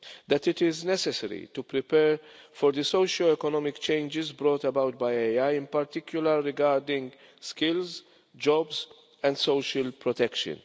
That it is necessary to prepare for the socio economic changes brought about by AI, in particular regarding skills, jobs and social protection.